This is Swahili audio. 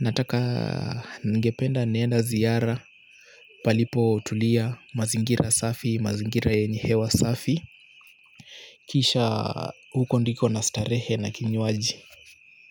nataka ningependa niende ziara, palipotulia mazingira safi, mazingira yenye hewa safi kisha huko ndiko nastarehe na kinywaji.